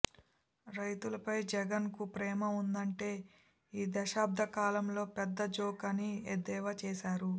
రైతులపై జగన్కు ప్రేమ ఉందంటే ఈదశాబ్ద కాలంలో పెద్ద జోక్అని ఎద్దేవా చేశారు